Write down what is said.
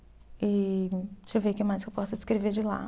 E deixa eu ver o que mais eu posso descrever de lá.